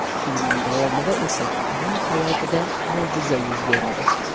Film davomida esa uning hayotida mo‘jiza yuz beradi.